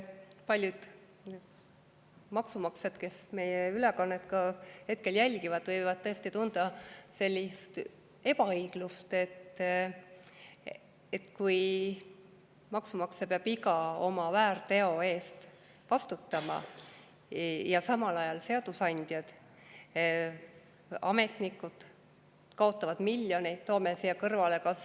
Paljud maksumaksjad, kes meie ülekannet hetkel jälgivad, võivad tõesti tunda sellist ebaõiglust, et kui maksumaksja peab iga oma väärteo eest vastutama, siis samal ajal seadusandjad ja ametnikud kaotavad miljoneid,.